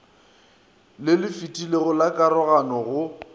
le lefetilego la karogano go